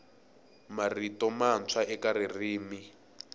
marito mantshwa eka ririmi